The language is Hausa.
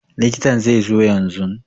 Likitan zai zo yanzun